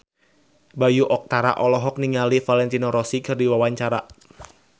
Bayu Octara olohok ningali Valentino Rossi keur diwawancara